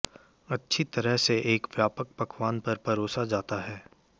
अच्छी तरह से एक व्यापक पकवान पर परोसा जाता है